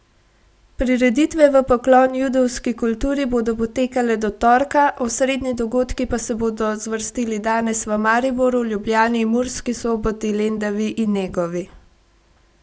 Prireditve v poklon judovski kulturi bodo potekale do torka, osrednji dogodki pa se bodo zvrstili danes v Mariboru, Ljubljani, Murski Soboti, Lendavi in Negovi.